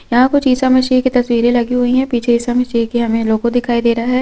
यहाँ कुछ ईसा मसीह की तस्वीरें लगी हुई है पीछे ईसा मसीह की हमें लोगो दिखाई दे रहा है।